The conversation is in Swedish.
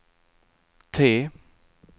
T